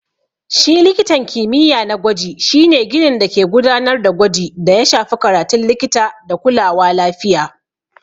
Shi likitan kimiyya na gwaji shi ne ginin dake gudanar da gwaji da ya shafi karatun likita da kulawa lafiya.